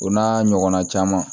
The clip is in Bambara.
O n'a ɲɔgɔnna caman